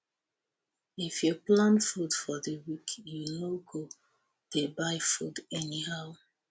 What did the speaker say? if you plan food for di week you no go dey buy food anyhow